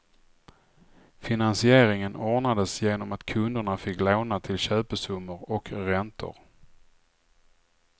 Finansieringen ordnades genom att kunderna fick låna till köpesummor och räntor.